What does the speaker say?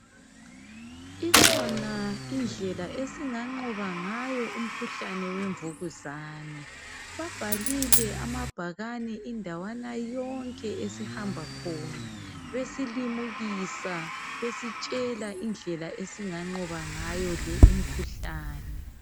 Ikhona indlela esinganqoba ngayo umkhuhlane wemvukuzane. Babhalile amabhakane indawana yonke esihambakhona besilimukisa besitshela indlela esinganqoba ngayo lo umkhuhlane.